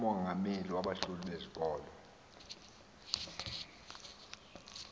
umongameli wabahloli bezikolo